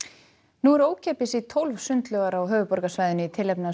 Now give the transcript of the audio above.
nú er ókeypis í tólf sundlaugar á höfuðborgarsvæðinu í tilefni af